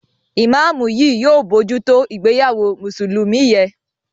imamu yí yóò bojuto ìgbéyàwó Mùsùlùmí yén.